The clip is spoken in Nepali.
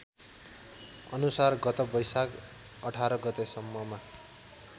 अनुसार गत वैशाख १८ गतेसम्ममा